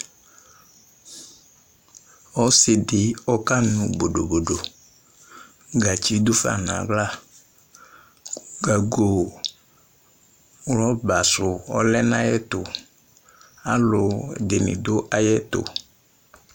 Ɔsɩ dɩ ɔkanʋ bodobodo Gatsi dʋ fa nʋ aɣla, gago rɔba sʋ ɔlɛ nʋ ayɛtʋ Alʋ dɩnɩ dʋ ayɛtʋ